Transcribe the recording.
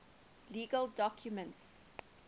legal documents